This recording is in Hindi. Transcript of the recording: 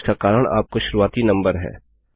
इसका कारण आपका शुरुआती नंबर है